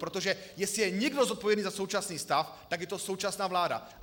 Protože jestli je někdo zodpovědný za současný stav, tak je to současná vláda.